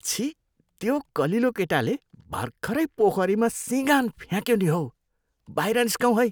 छिः! त्यो कलिलो केटाले भर्खरै पोखरीमा सिँगान फ्याँक्यो नि हौ। बाहिर निस्कौँ है।